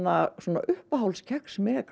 uppáhalds kex